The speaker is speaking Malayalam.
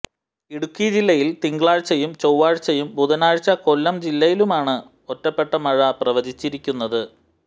ഇടുക്കി ജില്ലയിൽ തിങ്കളാഴ്ച്ചയും ചൊവ്വാഴ്ച്ചയും ബുധനാഴ്ച്ച കൊല്ലം ജില്ലയിലുമാണ് ഒറ്റപ്പെട്ട മഴ പ്രവചിച്ചിരിക്കുന്നത്